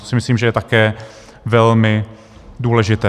To si myslím, že je také velmi důležité.